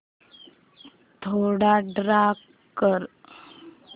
थोडा डार्क कर